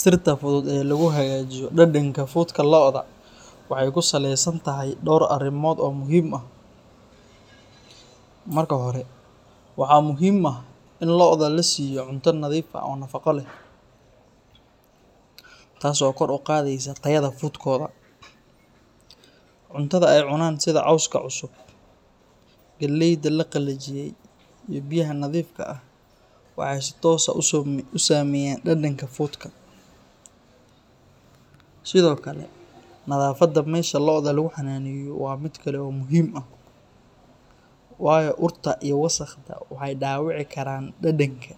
Sirta fudud ee lagu hagaajiyo dhadhanka fuudka lo’da waxay ku saleysan tahay dhowr arrimood oo muhiim ah. Marka hore, waxaa muhiim ah in lo’da la siiyo cunto nadiif ah oo nafaqo leh, taas oo kor u qaadaysa tayada fuudkooda. Cuntada ay cunaan sida cawska cusub, galleyda la qalajiyey, iyo biyaha nadiifka ah waxay si toos ah u saameeyaan dhadhanka fuudka. Sidoo kale, nadaafadda meesha lo’da lagu xanaaneeyo waa mid kale oo muhiim ah, waayo urta iyo wasakhda waxay dhaawici karaan dhadhanka.